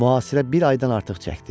Mühasirə bir aydan artıq çəkdi.